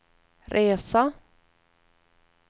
resa